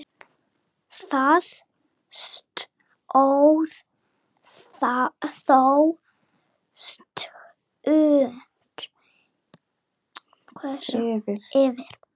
Það stóð þó stutt yfir.